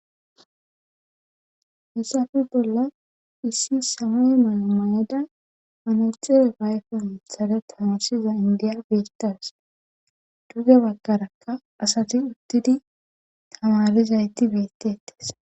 hessafe bolla issi same mala mayada anaxere gayfe mithare tanosiza indiya biitas dugge baggarakka asati uttidi tamalizayti beettettes